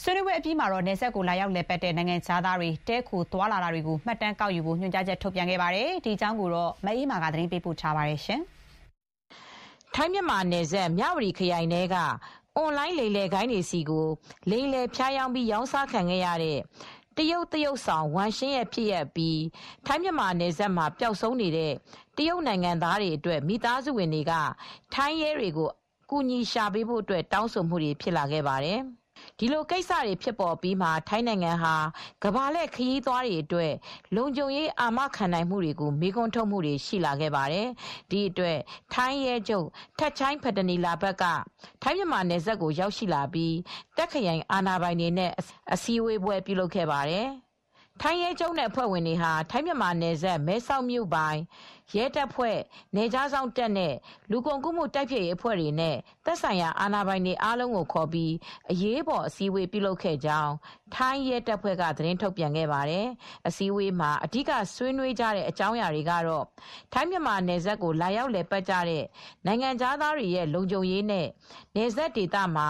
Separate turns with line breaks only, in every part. ဆွေးနွေးပွဲ အပြီးမှာ နယ်စပ်ကို လာရောက်လည်ပတ်တဲ့ နိုင်ငံခြားသားတွေ တည်းခိုသွားလာတာတွေကို မှတ်တမ်းကောက်ယူဖို့ ညွှန်ကြားချက် ထုတ်ပြန်ခဲ့ပါတယ်။ မအေးအေးမာ သတင်းပို့ပါတယ်။ ထိုင်း-မြန်မာ နယ်စပ် မြ၀တီခရိုင်ထဲက အွန်လိုင်းလိမ်လည်ဂိုဏ်းတွေဆီကို လိမ်လည် ဖြားယောင်း ပြီး ရောင်းစားခံရတဲ့ တရုတ်သရုပ်ဆောင် ဝမ်ရှင်းရဲ့ဖြစ်ရပ်အပြီး ထိုင်း-မြန်မာနယ်စပ်မှာ ပျောက်ဆုံးနေတဲ့ တရုတ်နိုင်ငံသားတွေအတွက် မိသားစုတွေက ထိုင်းရဲကို ကူညီရှာပေးဖို့ တောင်းဆိုမှုတွေဖြစ်လာခဲ့ပါတယ်။ ဒီလိုကိစ္စတွေဖြစ်ပေါ် အပြီးမှာ ထိုင်းနိုင်ငံဟာ ကမ္ဘာလှည့်ခရီးသွားတွေ အတွက် လုံခြုံရေးအာမခံနိုင်မှုကို မေးခွန်းထုတ်မှုတွေရှိလာပါတယ်။ ဒီအတွက် ထိုင်းရဲချုပ် Pol. Gen. Thatchai Pitaneelabut (ထပ်ချိုင်း ပတနီလာဘတ်) ဟာ ထိုင်းမြန်မာနယ်စပ်ကို ရောက်ရှိလာပြီး တာ့ခ်ခရိုင်အာဏာပိုင်တွေနဲ့အစည်းဝေးပြုလုပ်ခဲ့ပါတယ်။ ထိုင်းရဲချုပ် Thatchai Pitaneelabut နဲ့ အဖွဲ့ဝင်တွေဟာ ထိုင်း-မြန်မာနယ်စပ် မဲဆောက်မြိုပိုင် ရဲတပ်ဖွဲ့၊ နယ်ခြား စောင့်နဲ့ လူကုန်ကူး တိုက်ဖျက်ရေးအဖွဲ့တွေနဲ့ သက်ဆိုင်ရာအာဏာပိုင်တွေ အားလုံးကိုခေါ်ပြီး အရေးပေါ် အစည်း ဝေးပြုလုပ်ခဲ့ ကြောင်း ထိုင်းရဲတပ်ဖွဲ့က သတင်းထုတ်ပြန်ထားပါတယ်။ အစည်းအဝေးမှာ အဓိက ဆွေးေနွးခဲ့ကြတဲ့ အကြောင်းအရာကတော့ ထိုင်းမြန်မာ နယ်စပ် ကို လာရောက်လည်ပါတ်ကြတဲ့ နိုင်ငံခြား သားတွေရဲ လုံခြုံရေး နဲ့ နယ်စပ်ဒေသမှာ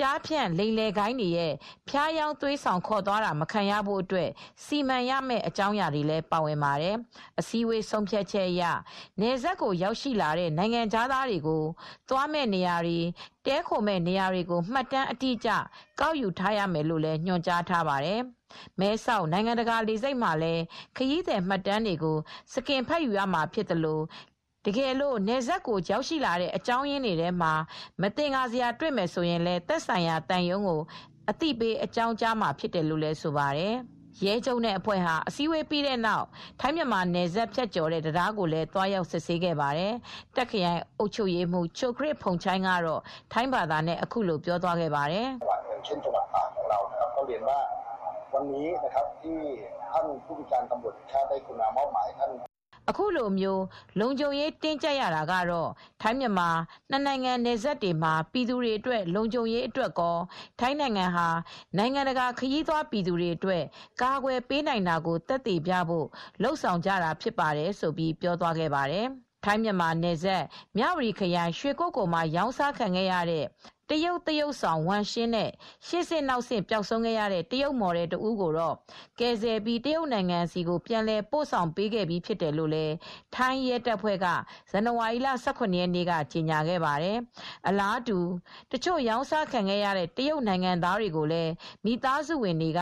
ကျားဖြန့်ဂိုဏ်း တွေ ဖြားယောင်း သွေးဆောင်ခေါ်သွားတာ မခံရဖို့အတွက် စီမံရမယ့်အကြောင်းအရာတွေပါဝင်ပါတယ်။ အစည်းအဝေး ဆုံးဖြတ် ချက်အရ နယ်စပ်ကိုရောက်ရှိ လာတဲ့ နိုင်ငံခြား သားတွေကို သွားမယ့်နေရာ တွေ တည်းခိုနေရာတဲ့ နေရာတွေကို မှတ်တမ်း အတိအကျ ကောက်ယူရမယ်လို့လည်း ညွန်ကြားထားပါတယ်။ မဲဆောက် နိုင်ငံတကာ လေဆိပ်မှာလည်း ခရီးသည်မှတ်တမ်းတွေ ကို စကင်ဖတ်ယူရမှာဖြစ်သလို တကယ်လို့ နယ်စပ်ကိုရောက်ရှိလာတဲ့ အကြောင်း အရင်းတွေထဲမှာ မသင်္ကာ စရာတွေ့မယ် ဆိုရင် သက်ဆိုင်ရာသံရုံးကို အသိပေး အကြောင်းကြားမှာဖြစ်တယ်လို့ဆိုပါတယ် ။ ရဲချုပ်နဲ့အဖဲွ့ဟာ အစည်းအဝေးပြီးတဲ့နောက် ထိုင်း-မြန်မာ နယ်စပ်ဖြတ်ကျော်တဲ့ တံတားကိုလည်း သွားရောက်စစ်ဆေးခဲ့ ပါတယ်။ အခုလို လုံခြုံရေး တင်းကျပ် ရတာက ထိုင်း-မြန်မာ နစ်နိုင်ငံ နယ်စပ်ဒေသမှာ ပြည်သူ တွေလုံခြုံရေးအတွက်ရော ထိုင်းနိုင်ငံ ဟာ နိုင်ငံတကာခရီသွားပြည်သူတွေအတွက် ကာကွယ် ပေးနိုင်တာကို သက်သေပြဘို့ လုပ်ဆောင်ကြတာဖြစ်ပါတယ်" လို့ Tak (တာ့ခ်) ခရိုင် အုပ်ချုပ်ရေးမှူး ချိုခရစ် ဖုန်ချိုင်း (Chukhip Phongchai, Governor of Tak Province) က ပြောပါတယ်။ ထိုင်း-မြန်မာ နယ်စပ် မြ၀တီခရိုင်၊ ရွှေကုက္ကိုလ်မှာ ရောင်းစားခံရတဲ့ တရုတ်သရုပ်ဆောင်ဝမ်ရှင်းနဲ့ ရှေ့ဆင့်နောက်ဆင့် ပျောက်ဆုံးခဲ့တဲ့ တရုတ် မော်ဒယ် တဦးကိုတော့ ကယ်ဆယ်ပြီး တရုတ်နိုင်ငံဆီ ပြန်လည် ပို့ဆောင်ပေးခဲ့ပြီး ဖြစ်တယ်လို့ ထိုင်းရဲတပ်ဖွဲ့က ဇန်နဝါရီလ ၁၇ ရက်နေ့က ကြေညာခဲ့ပါတယ်။ အလားတူ တချို့ရောင်းစားခံရတဲ့ တရုတ်နိုင်ငံသားတွေကိုလည်း မိသားစုဝင်တွေက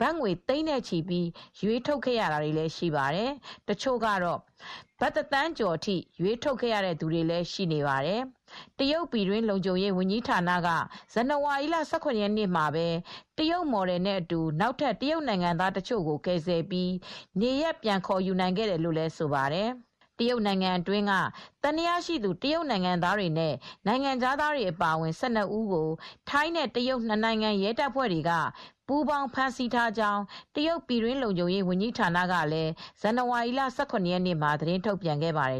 ဘတ်ငွေ သိန်းနဲ့ချီပြီး ရွေးထုတ်ခဲ့ရတာတွေလည်းရှိနေပါတယ် ။တချို့ကတော့ဘတ်ငွေတသန်းကျော်နဲ့ ရွေးထုတ်ခဲ့ရတဲ့ဖြစ်စဉ်တွေလည်းရှိခဲ့ပါတယ်။ တရုတ် ပြည်တွင်း လုံခြုံရေး ဝန်ကြီးဌာနက ဇန်နဝါရီ ၁၇ ရက်နေ့မှာပဲ တရုတ်မော်ဒယ်အတူ နောက်ထပ် တရုတ်နိုင်ငံသားတချို့ကို ကယ်ဆယ်ပြီး နေရပ်ပြန်လည် ခေါ်ယူနိုင်ခဲ့တယ်လို့လည်းဆိုပါတယ်။ သံသယရှိသူ တရုတ်နိုင်ငံသားတွေနဲ့ နိုင်ငံခြားသားတွေအပါအဝင် ၁၂ ဦးကို ထိုင်းနဲ့တရုတ် နှစ်နိုင်ငံ ရဲတပ်ဖွဲ့တွေ ပူးပေါင်း ဖမ်းဆီးထားကြောင်း တရုတ် ပြည်တွင်းလုံခြုံရေး ဝန်ကြီးဌာနက ဇန်နဝါရီ ၁၇ ရက်နေ့မှာ ထုတ်ပြန်ခဲ့ပါတယ်